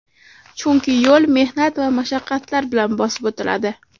Chunki yo‘l mehnat va mashaqqatlar bilan bosib o‘tiladi.